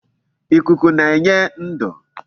Ikuku na-enye ndu